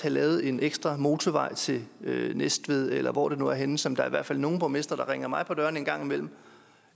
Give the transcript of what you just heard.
lavet en ekstra motorvej til næstved eller hvor det nu er henne som der i hvert fald er nogle borgmestre der render mig på dørene om en gang imellem